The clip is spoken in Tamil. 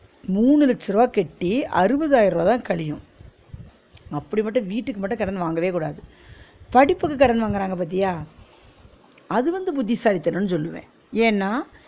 மூணு லட்ச ருவா கட்டி அறுபதாயிர ருவா தான் கழியும் அப்பிடி மட்டும் வீட்டுக்கு மட்டும் கடன் வாங்கவே கூடாது படிப்புக்கு கடன் வாங்குறாங்க பாத்தியா அது வந்து புத்திசாலிதனம்ன்னு சொல்லுவே ஏன்னா